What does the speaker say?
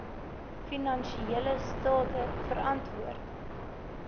finansiële state verantwoord